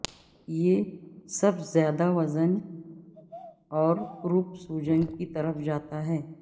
یہ سب زیادہ وزن اور کروپ سوجن کی طرف جاتا ہے